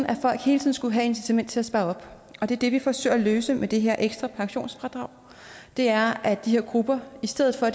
at folk hele tiden skulle have et incitament til at spare op det det vi forsøger at løse med det her ekstra pensionsfradrag er at de her grupper i stedet for